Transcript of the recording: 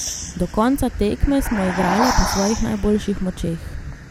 Do konca tekme smo igrale po svojih najboljših močeh.